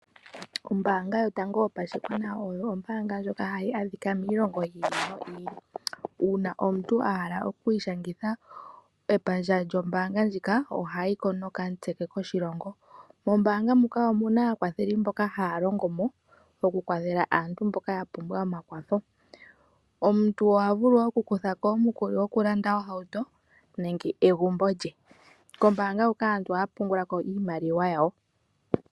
Ombaanga yotango yopashigwana oyo ombaanga ndjoka ha yi adhikwa miilongo oyindji. Uuna omuntu a hala okwiishangitha epandja lyombaanga ndjika, oha yi ko nokamutse ke koshilongo. Mombaanga muka omuna aakwatheli mboka ha ya longo mo oku kwathela aantu mboka ya pumbwa omakwatho. Omuntu oha vulu oku kutha ko omukuli oku landa ohauto nenge egumbo lye. Kombaanga huka aantu oha ya pungula ko iimaliwa yawo.